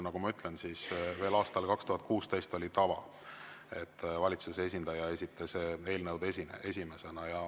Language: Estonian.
Nagu ma ütlesin, siis veel aastal 2016 oli tava, et valitsuse esindaja esitas eelnõud esimesena.